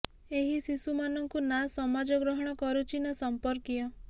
ଏହି ଶିଶୁ ମାନଙ୍କୁ ନା ସମାଜ ଗ୍ରହଣ କରୁଛି ନା ସଂପର୍କୀୟ